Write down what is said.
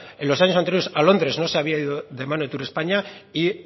en los años anteriores a londres no se había ido de mano de turespaña y